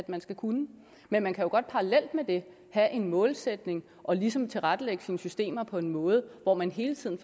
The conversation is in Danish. man skal kunne men man kan jo godt parallelt med det have en målsætning og ligesom tilrettelægge sine systemer på en måde hvor man hele tiden